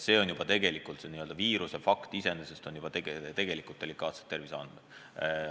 See juba puudutab tegelikult delikaatsed terviseandmeid.